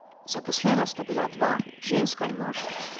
Zaposlena sta bila dva, ženska in moški.